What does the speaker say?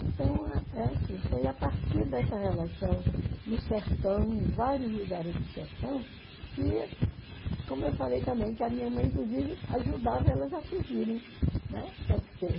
Então, é assim, foi a partir dessa relação no sertão, em vários lugares do sertão, que, como eu falei também, que a minha mãe, inclusive, ajudava elas a fugirem. Né?